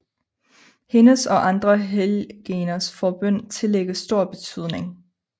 Hendes og andre helgeners forbøn tillægges stor betydning